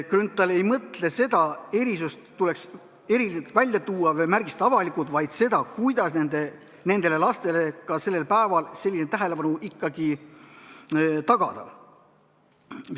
Grünthal ei mõelnud seda, et erisust tuleks eriliselt välja tuua või avalikult märgistada, vaid seda, kuidas ka nendele lastele sellel päeval selline tähelepanu ikkagi tagada.